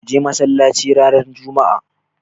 Ka je masallaci ranar juma'a.